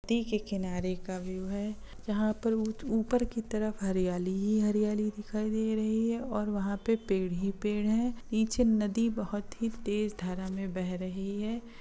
--नदी के किनारे का व्यू है जहा पर ऊपर की तरफ हरियाली ही हरियाली दिखाई दे रही है वहां पेड़ ही पेड़ है नीचे नदी बहुत ही तेज धारा में बह रही हैं।